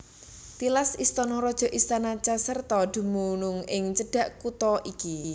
Tilas istana raja istana Caserta dumunung ing cedhak kutha iki